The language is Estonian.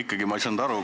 Ikkagi ei saanud ma aru.